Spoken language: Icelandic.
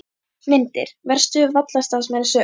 Myndir: Verstu vallarstarfsmenn sögunnar?